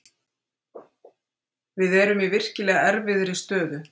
Við erum í virkilega erfiðri stöðu.